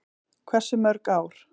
Hversu mörg ár?